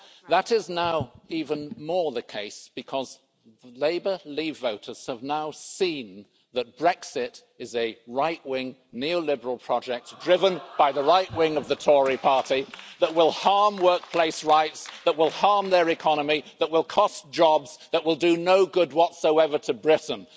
That is now even more the case, because Labour leave voters have now seen that Brexit is a right wing, neoliberal project, driven by the right wing of the Tory party, that will harm workplace rights, that will harm their economy, that will cost jobs, that will do no good whatsoever to Britain.